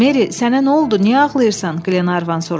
Meri, sənə nə oldu, niyə ağlayırsan, Qlenarvan soruşdu.